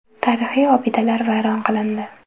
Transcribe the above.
Tarixiy obidalar vayron qilindi.